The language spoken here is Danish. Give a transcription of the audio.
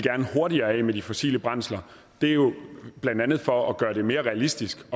hurtigere af med de fossile brændsler det er jo blandt andet for at gøre det mere realistisk